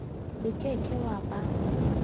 o ke ke wa ba